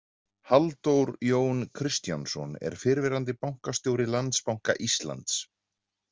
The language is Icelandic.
Halldór Jón Kristjánsson er fyrrverandi bankastjóri Landsbanka Íslands.